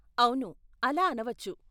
అవును, అలా అనవచ్చు.